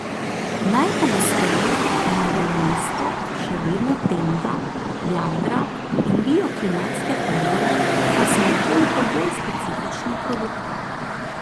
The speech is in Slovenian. Najpogosteje najde mesto še vedno tenda, jadra in bioklimatske pergole pa so nekoliko bolj specifični produkti.